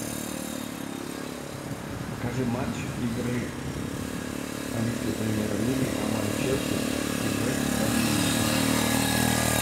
покажи матч игры английской премьер лиги команд челси и вест хэм юнайтед